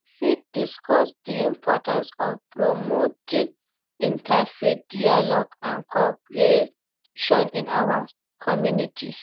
You fit discuss di importance of promoting interfaith dialogue and cooperation in our communities.